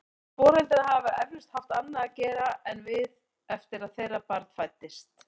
Þessir foreldrar hafa eflaust haft annað að gera en við eftir að þeirra barn fæddist.